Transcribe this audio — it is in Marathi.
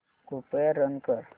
कृपया रन कर